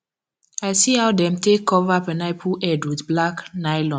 i see how dem take cover pineapple head with black nylon